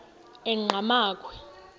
enqgamakhwe